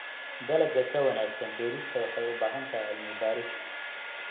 Dalagga ka wanaagsan beerista waxay u baahan tahay cilmi baaris.